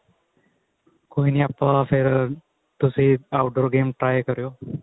ਕੋਈ ਆਪਾਂ ਫੇਰ ਤੁਸੀਂ outdoor game try ਕਰਿਉ